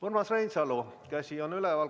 Urmas Reinsalu käsi on üleval.